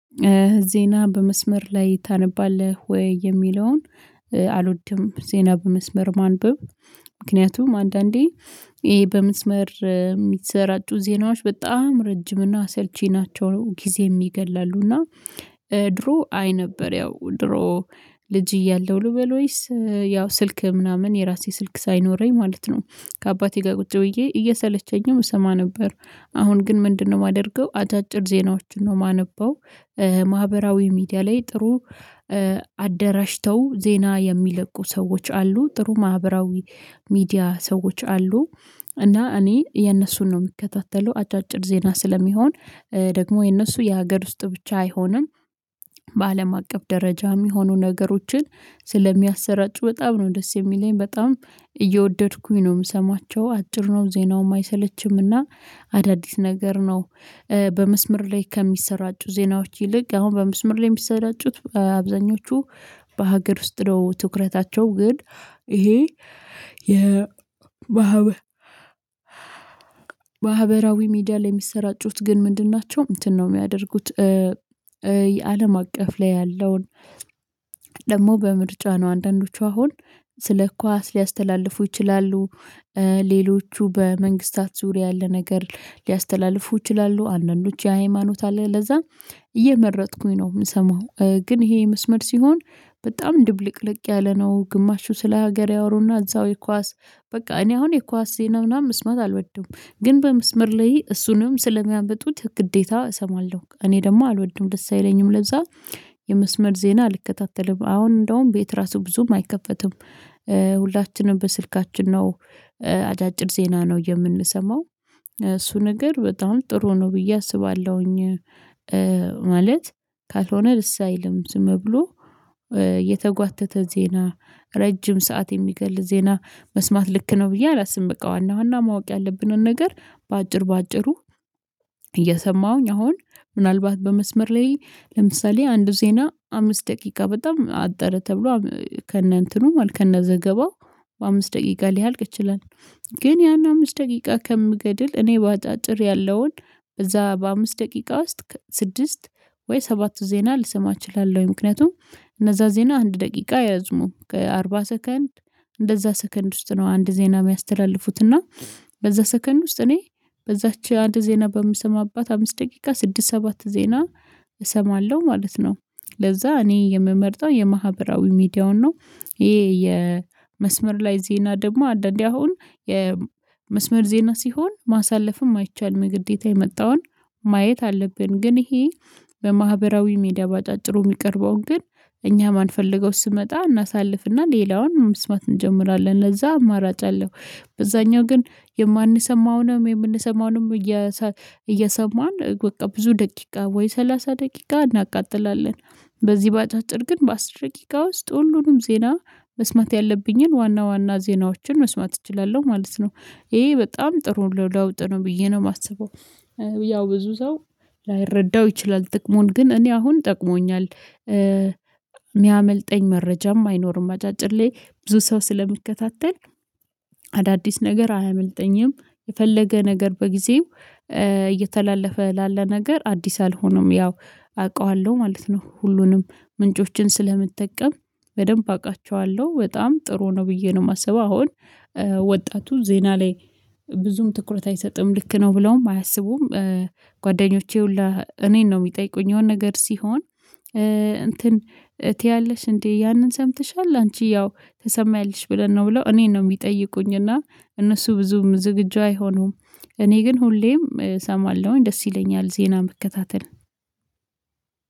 ዜና በመስመር ላይ ታነባለህ ወይ? የሚለውን አልወድም ዜና በመስመር ማንበብ ምክንያቱም አንዳንዴ ይሄ በመስመር የሚሰራጩ ዜናዎች በጣም ረጅም እና አሰልቺ ናቸው ነው ጊዜም ይገድላሉ እና ድሮ አይ ነበር ያው ድሮ ልጅ እያለሁ ልበል ወይስ ያው ስልክ ምናምን የራሴ ስልክ ሳይኖረኝ ማለት ነው ከአባቴ ጋር ቁጭ ብዬ እየሰለቸኝም እሰማ ነበር አሁን ግን ምንድነው የማደርገው አጫጭር ዜናዎችን ነው የማነበው ማህበራዊ ሚዲያ ላይ ጥሩ አደራጅተው ዜና የሚለቁ ሰዎች አሉ ጥሩ ማህበራዊ ሚዲያ ሰዎች አሉ እና እኔ የነሱን ነው የምከታተለው አጫጭር ዜና ስለሚሆን ደግሞ የነሱ የሀገር ውስጥ ብቻ አይሆንም በአለም አቀፍ ደረጃ የሚሆኑ ነገሮችን ስለሚያሰራጩ በጣም ነው ደስ የሚለኝ በጣም እየወደድኩኝ ነው የምሰማቸው አጭር ነው ዜናውም አይሰለችምና አዳዲስ ነገር ነው በመስመር ላይ ከሚሰራጩ ዜናዎች ይልቅ አሁን በመስመር ላይ የሚሰራጩት አብዛኞቹ በሀገር ውስጥ ትኩረታቸው ግን ይሄ የ ማህበራዊ ሚዲያ ላይ የሚሰራጩት ግን ምንድን ናቸው እንትን ነው የሚያደርጉት የአለም አቀፍ ላይ ያለውን ደግሞ በምርጫ ነው አንዳንዶቹ አሁን ስለ ኳስ ሊያስተላልፉ ይችላሉ ሌሎቹ በመንግሥታት ዙሪያ ያለ ነገር ሊያስተላልፉ ይችላሉ አንዳንዶች የሃይማኖት አለ ለዛ እየመረጥኩኝ ነው የምሰማው ግን ይሄ መስመር ሲሆን በጣም ድብልቅልቅ ያለ ነው ግማሹ ስለ ሀገር ያወሩና እዛው የኳስ በቃ እኔ አሁን የኳስ ስህተት ምናምን መስማት አልወድም ግን በመስመር ላይ እሱንም ስለሚያመጡት ግዴታ እሰማለሁ እኔ ደግሞ አልወድም ደስ አይለኝም ለዛ የመስመር ዜና አልከታተልም አሁን እንደውም ቤት ራሱ ብዙም አይከፈትም ሁላችንም በስልካችን ነው አጫጭር ዜና ነው የምንሰማው እሱ ነገር በጣም ጥሩ ነው ብዬ አስባለሁኝ ማለት ካልሆነ ደስ ልምዝም ብሎ የተጓተተ ዜና ረጅም ሰዓት የሚገል ዜና መስማት ልክ ነው ብዬ አላስብም በቃ ዋና ዋና ማወቅ ያለብንን ነገር በአጭር በአጭሩ እየሰማሁኝ አሁን ምናልባት በመስመር ላይ ለምሳሌ አንዱ ዜና አምስት ደቂቃ በጣም አጠረ ተብሎ ከነ እንትኑ ከነ ዘገባው በአምስት ደቂቃ ሊያልቅ ይችላል ግን ያን አምስት ደቂቃ ከምገድል እኔ በአጭር ያለውን እዛ በአምስት ደቂቃ ውስጥ ስድስት ወይ ሰባቱ ዜና ልሰማ እችላለሁ ምክንያቱም እነዛ ዜና አንድ ደቂቃ ያዙም ከአርባ ሰከንድ እንደዛ ሰከንድ ውስጥ ነው አንድ ዜና የሚያስተላልፉት እና በዛ ሰከንድ ውስጥ እኔ በዛች አንድ ዜና በምሰማት አምስት ደቂቃ ስድስት ሰባት ዜና እሰማለሁ ማለት ነው ለዛ እኔ የምመርጠው የማህበራዊ ሚዲያውን ነው ይሄ የመስመር ላይ ዜና ደግሞ አንዳንዴ አሁን የመስመር ዜና ሲሆን ማሳለፍም አይቻልም ግዴታ የመጣውን ማየት አለብን ግን ይሄ በማህበራዊ ሜዳ ባጫጭሩ የሚቀርበውን ግን እኛ ማንፈልገው ስመጣ እናሳልፍና ሌላውን መስማት እንጀምራለን ለዛ አማራጭ አለው አብዛኛው ግን የማንሰማውንም የምንሰማውንም እየሰማን በቃ ብዙ ደቂቃ ወይ ሰላሳ ደቂቃ እናቃጥላለን በዚህ በአጫጭር ግን በአሥር ደቂቃ ውስጥ ሁሉንም ዜና መስማት ያለብኝን ዋና ዋና ዜናዎችን መስማት እችላለሁ ማለት ነው ይሄ በጣም ጥሩ ለውጥ ነው ብዬ ነው የማስበው ያው ብዙ ሰው ላይረዳው ይችላል ጥቅሙን ግን እኔ አሁን ጠቅሞኛል የሚያመልጠኝ መረጃም አይኖርም አጫጭር ላይ ብዙ ሰው ስለሚከታተል ነገር አያመልጠኝም የፈለገ ነገር በጊዜው እየተላለፈ ላለ ነገር አዲስ አልሆነም ያው አውቃለሁ ማለት ነው ሁሉንም ምንጮችን ስለምጠቀም በደንብ አውቃቸዋለሁ በጣም ጥሩ ነው ብዬ ነው የማስበው አሁን ወጣቱ ዜና ላይ ብዙም ትኩረት አይሰጥም ልክ ነው ብለውም አያስቡም ጓደኞቼ ሁሉ እኔን ነው የሚጠይቁኝ የሆነ ነገር ሲሆን እንትን እትያለሽ እንዴ ያንን ሰምተሻል አንቺ ያው ተሰማያለሽ ብለን ነው ብለው እኔን ነው የሚጠይቁኝ የሚጠይቁኝና እነሱ ብዙም ዝግጁ አይሆኑም እኔ ግን ሁሌም እሰማለሁኝ ደስ ይለኛል ዜና መከታተል